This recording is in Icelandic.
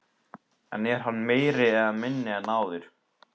En er hann meiri eða minni en áður?